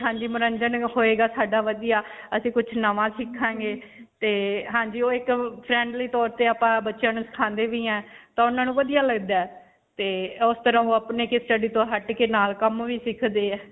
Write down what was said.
ਹਾਂਜੀ. ਮਨੋਰੰਜਨ ਹੋਏਗਾ ਸਾਡਾ ਵਧੀਆ. ਅਸੀਂ ਕੁਝ ਨਵਾਂ ਸਿੱਖਾਂਗੇ. ਹਾਂਜੀ ਓਹ ਇੱਕ ਅਅ friendly ਤੌਰ ਤੇ ਆਪਾਂ ਬੱਚਿਆਂ ਨੂੰ ਸਿਖਾਉਂਦੇ ਵੀ ਹੈ. ਤਾਂ ਉਨ੍ਹਾਂ ਨੂੰ ਵਧਿਆ ਲਗਦਾ ਹੈ. ਤੇ ਉਸ ਤਰ੍ਹਾਂ ਓਹ ਅਪਨੀ studies ਤੋਂ ਹੱਟ ਕੇ ਨਾਲ ਕੰਮ ਵੀ ਸਿੱਖਦੇ ਹੈ.